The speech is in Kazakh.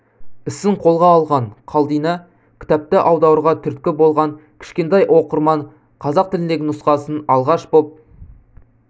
ісін қолға алған қалдина кітапты аударуға түрткі болған кішкентай оқырман қазақ тіліндегі нұсқасын алғаш боп